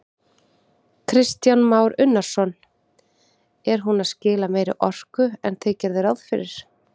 Kristján Már Unnarsson: Er hún að skila meiri orku en þið gerðuð ráð fyrir?